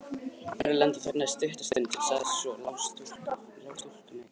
Erlendur þagnaði stutta stund en sagði svo:-Ég lá stúlkuna í kirkju.